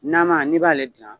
Nama n'i b'ale dilan